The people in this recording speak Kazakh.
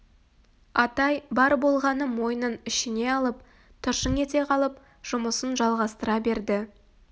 атай бар болғаны мойнын ішіне алып тыржың ете қалып жұмысын жалғастыра берді